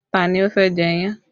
Ta ni ó fẹ́ jẹ iyán?